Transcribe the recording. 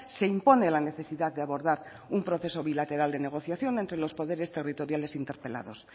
se impone la necesidad de abordar un proceso bilateral de negociación entre los poderes territoriales interpelados